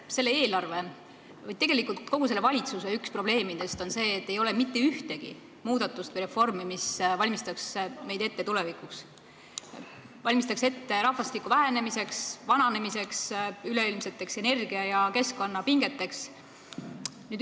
Üks selle eelarve või tegelikult kogu selle valitsuse tegevuse probleeme on see, et ei ole mitte ühtegi reformi, mis valmistaks meid ette tulevikuks – valmistaks meid ette rahvastiku vähenemiseks ja vananemiseks, üleilmseteks energia- ja keskkonnapingeteks.